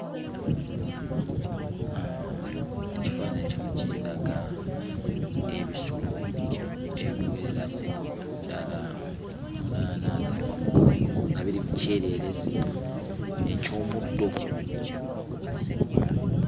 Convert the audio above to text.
Ekifaananyi kino kindaga ebisolo ebiwererako ddala munaana n'okwambuka waggulu, nga biri mu kyereerezi eky'omuddo.